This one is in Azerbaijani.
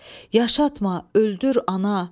Yaşatma, öldür ana.